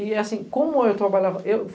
E, assim, como eu trabalhava? Eu